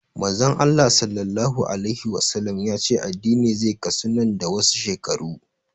Manzon Allah Sallallahu alaihi Wasallama ya ce addini zai kasu nan da wasu shekaru